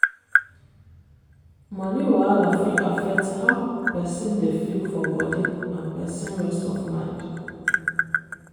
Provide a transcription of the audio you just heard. money wahala fit affect how person dey feel for body and person rest of mind.